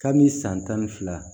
Kabi san tan ni fila